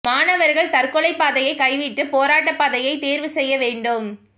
மாணவா்கள் தற்கொலை பாதையை கைவிட்டு போராட்ட பாதையைத் தோ்வு செய்ய வேண்டும்